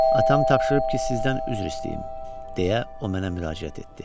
Atam tapşırıb ki, sizdən üzr istəyim, deyə o mənə müraciət etdi.